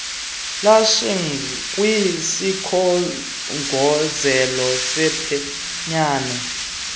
lashing kwisikhongozelo sephenyane